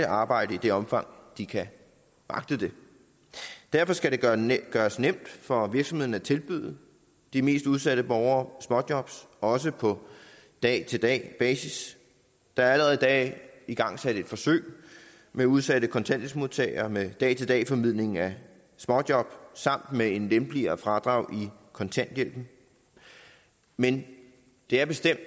arbejde i det omfang de kan magte det derfor skal det gøres nemt for virksomhederne at tilbyde de mest udsatte borgere småjob også på dag til dag basis der er allerede i dag igangsat et forsøg med udsatte kontanthjælpsmodtagere med dag til dag formidling af småjob samt med et lempeligere fradrag i kontanthjælpen men det er bestemt